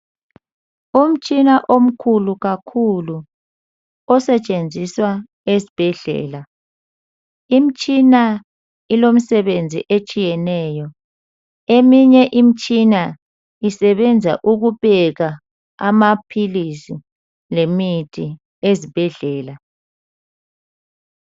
Umtshina omkhulu kakhulu osetshenziswa esbhedlela. Imtshina ilomsebenzi etshiyeneyo. Eminye imtshina isebenza ukupeka amaphilisi lemithi ezibhedlela.